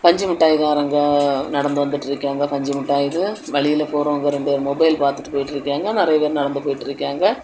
பஞ்சு மிட்டாய் காரங்க நடந்து வந்துட்டு இருக்காங்க பஞ்சு மிட்டாய்னு வழியில போறவங்க ரெண்டு பேர் மொபைல் பாத்துட்டு போயிட்டு இருக்காங்க நிறைய பேர் நடந்து போயிட்டு இருக்காங்க.